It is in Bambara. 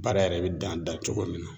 Baara yɛrɛ bɛ dan da cogo min na